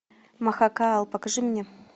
махакаал покажи мне